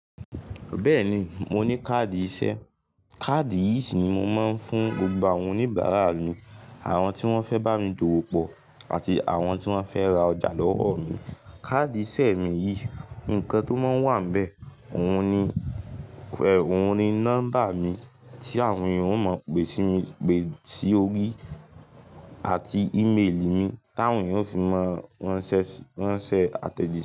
Bẹ́ẹ̀ni i, mo ní káàdì iṣẹ́. Káàdì yìí sì ni mo máa ń fún gbogbo àwọn oníbàárà mi, àwọn tí wọ́n fẹ́ bá mi dòwò pọ̀ àti àwọn tí wọ́n fẹ́ ra ọjà lọ́wọ́ mi. Káàdì iṣẹ́ mi yìí, nǹkan tó máa ń wà nbẹ̀, ohun ni nọ́mbà mi tí àwọn èeyàn ó mọ̀ pe si orí àti ìméèlì mi tí àwọn èeyan ó fi maa ranse àtẹ̀jíṣẹ́